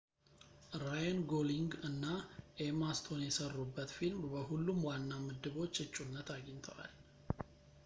ራየን ጎሊንግ እና ኤማ ስቶን የሰሩበት ፊልም በሁሉም ዋና ምድቦች እጩነት አግኝተዋል